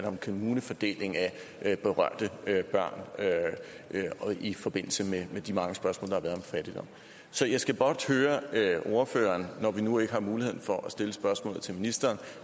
om kommunefordelingen af berørte børn i forbindelse med de mange spørgsmål der har været om fattigdom så jeg skal blot høre ordføreren når vi nu ikke har mulighed for at stille spørgsmålet til ministeren